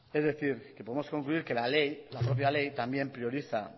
es decir que podemos concluir que la ley la propia ley también prioriza